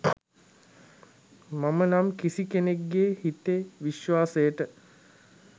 මම නම් කිසි කෙනෙක්ගේ හිතේ විශ්වාසයට